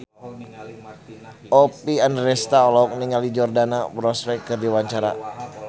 Oppie Andaresta olohok ningali Jordana Brewster keur diwawancara